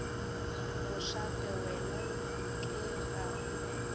mošate wena nke ga o